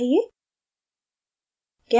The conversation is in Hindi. goodbye for now